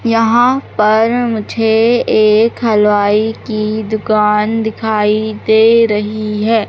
यहां पर मुझे एक हलवाई की दुकान दिखाई दे रही है।